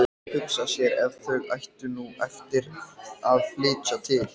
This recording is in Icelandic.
Hugsa sér ef þau ættu nú eftir að flytja til